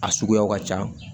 A suguyaw ka ca